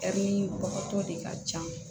de ka can